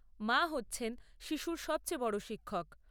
মা হচ্ছেন শিশুর সবচেয়ে বড় শিক্ষক।